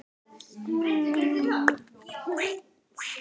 Ég gat ekki litið við.